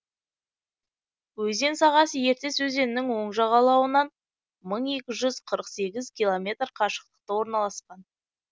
өзен сағасы ертіс өзенінің оң жағалауынан мың екі жүз қырық сегіз километр қашықтықта орналасқан